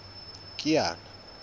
kiana